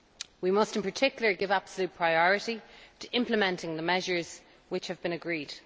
We must in particular give absolute priority to implementing the measures which have been agreed.